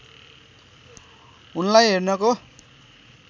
उनलाई हेर्नको